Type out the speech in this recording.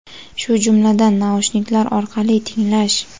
shu jumladan naushniklar orqali tinglash;.